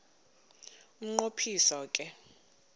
umnqo phiso ke